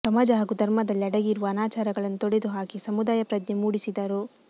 ಸಮಾಜ ಹಾಗೂ ಧರ್ಮದಲ್ಲಿ ಅಡಗಿರುವ ಅನಾಚಾರಗಳನ್ನು ತೊಡೆದು ಹಾಕಿ ಸಮುದಾಯ ಪ್ರಜ್ಞೆ ಮೂಡಿಸಿದರು